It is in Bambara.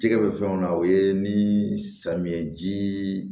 Jɛgɛ bɛ fɛnw na o ye ni samiyɛji